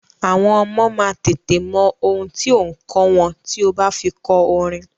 Àwọn ọmọ máa tètè mọ ohun tí ò ǹ kọ́ wọn tí o bá fi kọ orin.